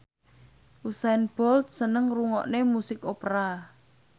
Usain Bolt seneng ngrungokne musik opera